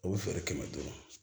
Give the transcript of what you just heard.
O bɛ feere kɛmɛ duuru